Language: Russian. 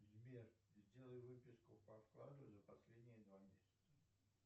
сбер сделай выписку по вкладу за последние два месяца